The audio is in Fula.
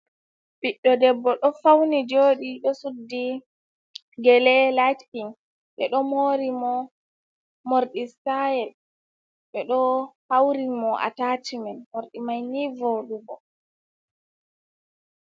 Ɓiɗdo debbo ɗo fauni joɗi ɗo suddi gele lait ping, ɓe ɗo mori mo morɗi stayel ɓe ɗo hauri ni mo a tacimen, morɗi mai ni voɗugo.